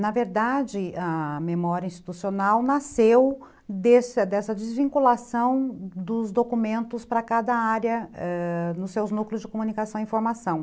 Na verdade, a memória institucional nasceu desse dessa desvinculação dos documentos ãh para cada área nos seus núcleos de comunicação e informação.